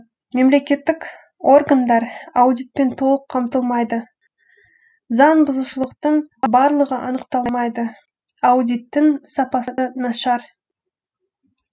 мемлекеттік органдар аудитпен толық қамтылмайды заңбұзушылықтың барлығы анықталмайды аудиттің сапасы нашар